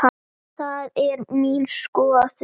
Það er mín skoðun.